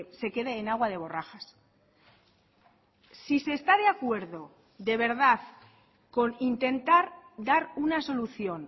se quede en agua de borrajas si se está de acuerdo de verdad con intentar dar una solución